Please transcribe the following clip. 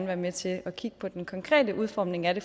være med til kigge på den konkrete udformning af det